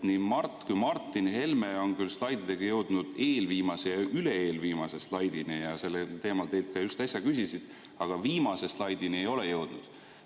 Nii Mart kui ka Martin Helme on slaididega jõudnud eelviimase ja üle-eelviimase slaidini ja sellel teemal teilt just äsja küsisid, aga viimase slaidini nad ei ole jõudnud.